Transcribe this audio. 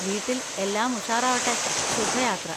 വീട്ടിൽ എല്ലാം ഉഷാറാവട്ടെ, ശുഭയാത്ര.